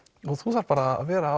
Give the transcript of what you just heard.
þú þarft bara að vera